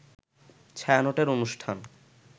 ছায়ানটের অনুষ্ঠান